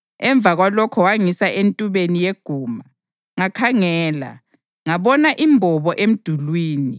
Emva kwalokho wangisa entubeni yeguma. Ngakhangela, ngabona imbobo emdulini.